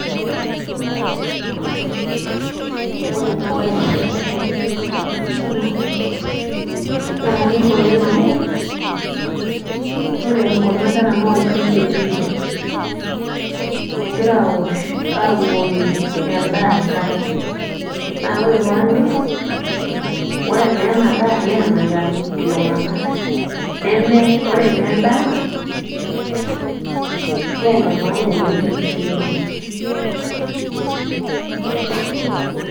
Ore enabae nagira aasa tenewei tenapisha, naa kanyor oleng. Naa kanyor oleng amu, ore kuna kera nolchamba etii. Egira awosh abukoki endaa enkare. Na ore panyor, ore naa enadaa naa enanya iltung'anak. Neme, ore nendaa, ne enemaana oleng tenkishui oltung'ani.